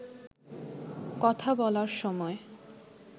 কথা বলার সময়